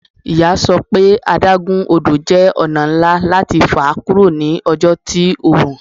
Iya sọ pe adagun odo jẹ ọna nla lati fa kuro ni ọjọ ti oorun